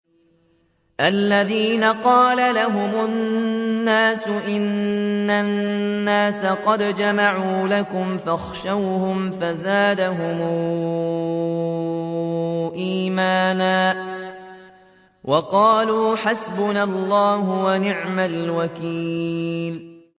الَّذِينَ قَالَ لَهُمُ النَّاسُ إِنَّ النَّاسَ قَدْ جَمَعُوا لَكُمْ فَاخْشَوْهُمْ فَزَادَهُمْ إِيمَانًا وَقَالُوا حَسْبُنَا اللَّهُ وَنِعْمَ الْوَكِيلُ